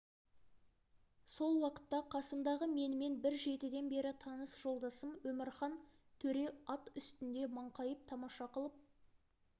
сол уақытта қасымдағы менімен бір жетіден бері таныс жолдасым омархан төре ат үстінде маңқайып тамаша қылып